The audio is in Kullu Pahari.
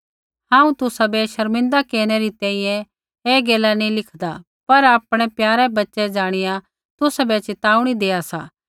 हांऊँ तुसाबै शर्मिंदा केरनै री तैंईंयैं ऐ गैला नैंई लिखदा पर आपणै प्यारे बच्चे ज़ाणिया तुसाबै च़िताऊणी देआ सा